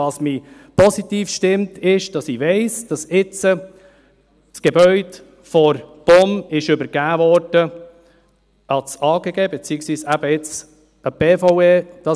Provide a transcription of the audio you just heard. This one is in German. Was mich positiv stimmt, ist, dass ich weiss, dass das Gebäude jetzt von der POM dem Amt für Grundstücke und Gebäude (AGG), beziehungsweise eben der die BVE, übergeben wurde.